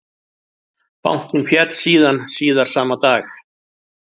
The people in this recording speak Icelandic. Bankinn féll síðan síðar sama dag